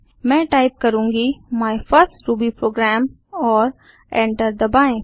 मैं टाइप करुँगी my first Ruby program और एंटर दबाएँ